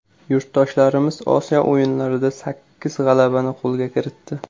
Yurtdoshlarimiz Osiyo o‘yinlarida sakkiz g‘alabani qo‘lga kiritdi.